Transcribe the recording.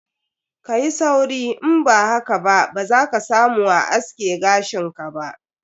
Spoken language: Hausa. Kayi sauri, in ba haka ba za ka samu a aske gashin ka ba.